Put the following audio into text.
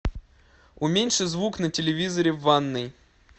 уменьши звук на телевизоре в ванной